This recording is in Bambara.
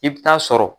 I bɛ taa sɔrɔ